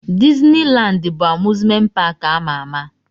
Dizni Landi bụ amuzment paki ama ama.